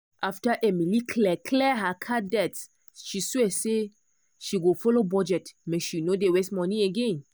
after emily clear clear her card debt she swear say she go follow budget make she no dey waste money again.